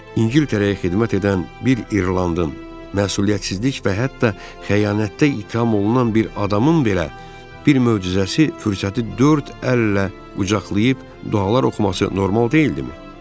İngiltərəyə xidmət edən bir İrlandın məsuliyyətsizlik və hətta xəyanətdə ittiham olunan bir adamın belə bir möcüzəsi, fürsəti dörd əllə qucaqlayıb dualar oxuması normal deyildimi?